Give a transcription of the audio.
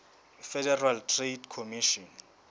federal trade commission